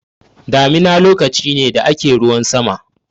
Damina lokaci ne da ake ruwan sama.